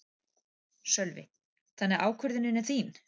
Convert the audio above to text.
Sölvi: Þannig að ákvörðunin er þín?